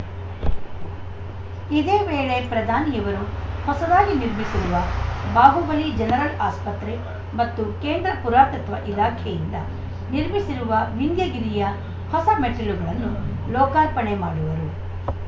ಇದೇ ವೇಳೆ ಪ್ರಧಾನಿಯವರು ಹೊಸದಾಗಿ ನಿರ್ಮಿಸಿರುವ ಬಾಹುಬಲಿ ಜನರಲ್‌ ಆಸ್ಪತ್ರೆ ಮತ್ತು ಕೇಂದ್ರ ಪುರಾತತ್ವ ಇಲಾಖೆಯಿಂದ ನಿರ್ಮಿಸಿರುವ ವಿಂಧ್ಯಗಿರಿಯ ಹೊಸಮೆಟ್ಟಿಲುಗಳನ್ನು ಲೋಕಾರ್ಪಣೆ ಮಾಡುವರು